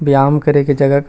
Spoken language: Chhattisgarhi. बयाम करे के जगा--